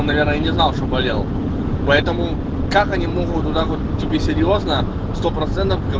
я не знал что болел поэтому как они могут тебе серьёзно что процесс